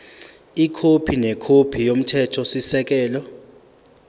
ikhophi nekhophi yomthethosisekelo